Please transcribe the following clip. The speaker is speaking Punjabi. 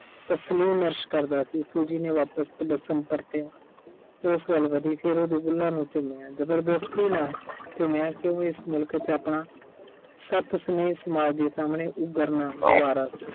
ਕਰਦਾ ਸੀ Suji ਨੇ ਤੇ ਉਸ ਵੱਲ ਵਧੀ ਫਿਰ ਉਹਦੇ ਬੁੱਲਾਂ ਨੂੰ ਚੁੰਮਿਆ। ਜ਼ਬਰਦਸਤੀ ਨਾਲ ਚੁੰਮਿਆ ਕਿਉਂ ਕਿ ਇਸ ਮੁਲਕ 'ਚ ਆਪਣਾ ਸਮਾਜ ਦੇ ਸਾਹਮਣੇ ਉਭਰਨਾ ਗਵਾਰਾ ਸੀ।